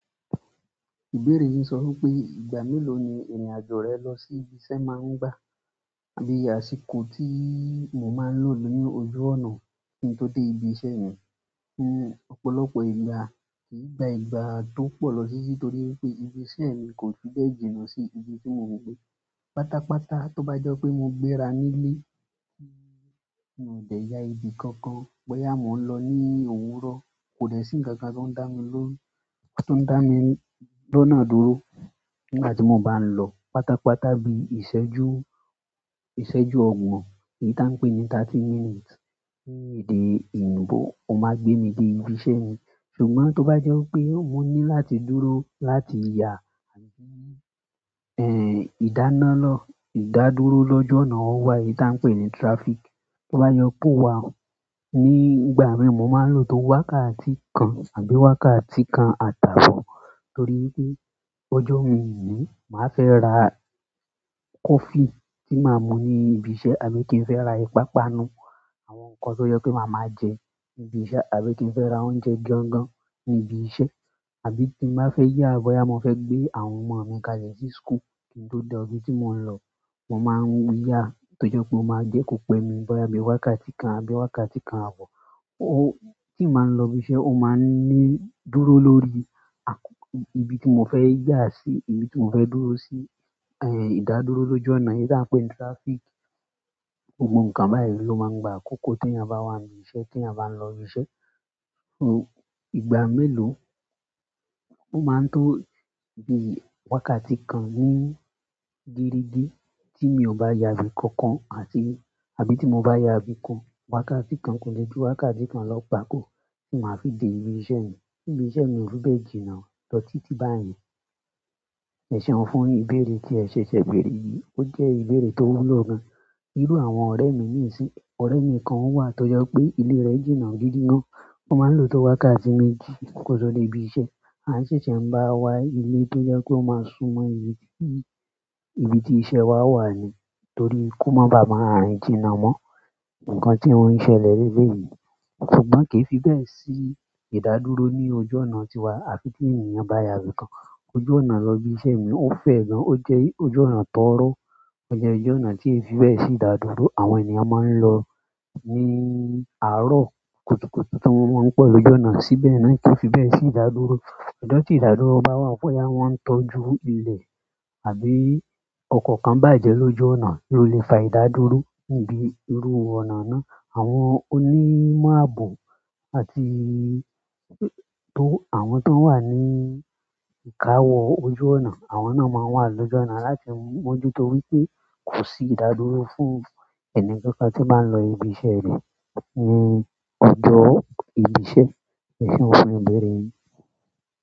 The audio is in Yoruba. Ìbéèrè yìí sọ wípé ìgbà mélòó ni irinajo rẹ lọ si íbi iṣẹ́ maa n gba? Àsìkò tii mo maa lo ni ojú ọ̀nà ki n to dé ibí iṣẹ́ mi, ọ̀pọ̀lọpọ̀ ìgbà ki í gba ìgbà tó pọ lọ titi torí wípé ibi iṣẹ́ mi ko fi bẹ́ẹ̀ jìnà si ibi ti mo n gbé pátápátá to ba jẹ pe mo gbéra ni ilé, mi o dè yà ibi kankan boya mo n lo ni òwúrọ̀ ko de si nkankan to da mi lọ́nà dúró nígbà ti mo ba n lọ pátápátá bí i ìṣẹ́jú ọgbọ̀n èyí tí a pè ní thirty minutes ní èdè oyinbó o máa gbé mi dé ibi iṣẹ́ mi. Ṣùgbọ́n tó bá jọ wipé mò ní láti dúró láti ya àbí ìdáná lọ ìdádúró lójú ọnà wa èyí ti a n pe ni traffic, to ba jẹ pe o wa ni ìgbà mii, mo maa n lo tó wákàtí kan àbí wákàtí kan àti àbò, torí wípé ọjọ un ni máa fẹ ra coffee ti máa mú ni ibí iṣẹ́ àbí ki i fẹ ra ipapanu àwọn ǹkan tó jẹ pé màá máa jẹ ní ibi iṣẹ́ àbí kí n fẹ́ ra oúnjẹ gangan ní ibi iṣẹ́. Àbí tí n ba fẹ́ yà bóyá mo fẹ́ gbé àwọn ọmọ mi kálẹ̀ sí school kí n tó dé ibi tí mò ń lọ, mo máa ń yà tó jẹ́ pé o máa jẹ́ kó pẹ́ mi bóyá bí wákàtí kan àbí wákàtí kan àbọ̀. Tí màá ń lọ ibi iṣẹ́, ó máa ń ní dúró lórí ibi tí mo fẹ́ yà sí, ibi tí mo fẹ́ dúró sí, ìdádúró lójú ọ̀nà eyìí tí a ń pè ní traffic. Gbogbo nǹkan báyìí ló máa ń gba àkókò tí èèyàn bá wà ní ibi iṣẹ́ tí èèyàn bá ń lọ ibi iṣẹ́. Ìgbà mélòó? Ó máa ń tó bí i wákàtí kan ní gerege tí mi ò bá ya ibi kankan àbí tí mo bá ya ibi kan, wákàtí kan kò lè ju wákàtí kan lọ gbàkò tí màá fi dé ibi iṣẹ́ mi. Ibi iṣẹ́ mi ò fẹ bẹ́ẹ̀ jìnnà lọ títí báyìí. Ẹ̀ saa funny, ìbéèrè tí ẹ ṣẹ̀ṣẹ̀ béèrè yìí, ó jẹ́ ìbéèrè tó wúlò gan-an. Irú àwọn ọ̀rẹ́ mi ni isí, ọ̀rẹ́ mi kan wà tó jẹ́ pé ilé rẹ̀ jìnnà gidi gan. Ó máa ń lò tó wákàtí méjì kó tó dé ibi iṣẹ́. A ṣẹ̀ṣẹ̀ ń bá wa ilé tó jẹ́ pe ó máa súnmọ́ ibi tí iṣẹ́ wa wa ní torí kó máa ba à máa rìn jìnnà mọ́ nǹkan tí ó ń ṣẹlẹ̀ leleyìí. Ṣùgbọ́n kì í fi bẹ́ẹ̀ sí ìdádúró ní ojú ọ̀nà tiwa. Àfi tí ènìyàn bá ya ibi kan ojú ọ̀nà lọ ibi iṣẹ́ mi, ó fẹ́ gan-an. Ó jẹ́ ojú ọ̀nà tọ̀rọ̀. Ó jẹ́ ojú ọ̀nà tí ẹ fi bẹ́ẹ̀ sí ìdádúró. Àwọn ènìyàn máa ń lọ ní àárọ̀ kùtùkùtù tí wọ́n máa ń pọ̀ lójú ọ̀nà síbẹ̀ náà kì í fi bẹ́ẹ̀ sí ìdádúró. Ọjọ tí ìdádúró bá wá boyá wọ́n ń tọ́jú ilẹ̀ àbí ọkọ̀ kan bàjẹ́ lójú ọ̀nà ló lè fa ìdádúró níbi irú ọ̀nà náà. Àwọn onímọ̀ ààbò àti àwọn tó n wà ní ìkáwọ ojú ọ̀nà, àwọn náà máa ń wà lójú ọ̀nà láti moju to wipé kò sí ìdádúró fún ẹni kankan tí n bá lọ ibi iṣẹ́ rẹ̀ ní ọjọ ibi iṣẹ́. Ẹ̀ ṣeun fún ìbéèrè yìí.